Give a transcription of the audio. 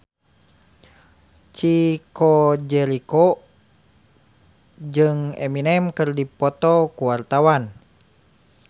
Chico Jericho jeung Eminem keur dipoto ku wartawan